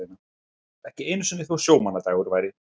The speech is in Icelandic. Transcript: Ekki einu sinni þó sjómannadagur væri.